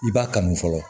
I b'a kanu fɔlɔ